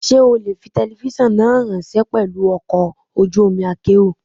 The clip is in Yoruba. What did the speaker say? Ṣé o lè fi telifíṣàn náà ráńṣẹ́ pelu ọkọ̀ ojú omi akérò?